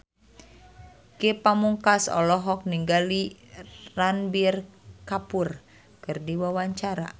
Ge Pamungkas olohok ningali Ranbir Kapoor keur diwawancara